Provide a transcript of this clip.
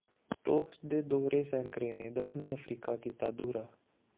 stocks ਦੇ ਦੋਹਰੇ ਸੈਂਕਡ਼ੇ ਨੇ ਦੱਖਣੀ ਅਫਰੀਕਾ ਕੀਤਾ ਦੂਹਰਾ